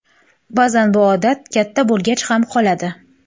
Ba’zan bu odat katta bo‘lgach ham qoladi.